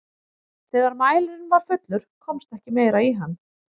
þegar mælirinn var fullur komst ekki meira í hann